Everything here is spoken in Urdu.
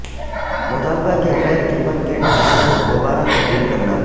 مطالبہ کے غیر قیمت کے ڈھانچے کو دوبارہ تبدیل کرنا